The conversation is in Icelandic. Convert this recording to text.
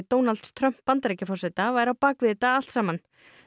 Donalds Trumps Bandaríkjaforseta væri á bak við þetta allt saman